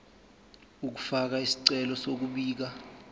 ukufaka isicelo sokubika